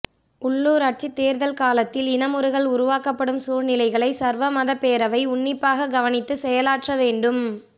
உள்ளுராட்சித் தேர்தல் காலத்தில் இனமுறுகல் உருவாக்கப்படும் சூழ்நிலைகளை சர்வமதப் பேரவை உன்னிப்பாகக் கவனித்து செயலாற்ற வேண்டும்